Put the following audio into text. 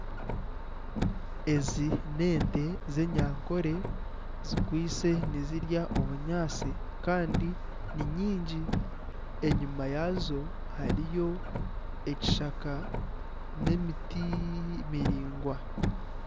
Ezi n'ente z'enyankore zikwaitse nizirya obunyaatsi kandi ni nyingi enyima yaazo hariyo ekishaka n'emiti miraingwa.